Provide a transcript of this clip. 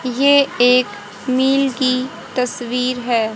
ये एक मिल की तस्वीर है।